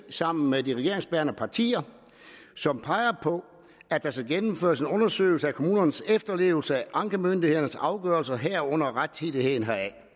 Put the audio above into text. sammen med de regeringsbærende partier og som peger på at der skal gennemføres en undersøgelse af kommunernes efterlevelse af ankemyndighedernes afgørelser herunder rettidigheden